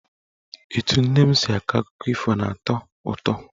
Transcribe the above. Etu nne m si akọ akụkọ ifo na-atọ ụtọ.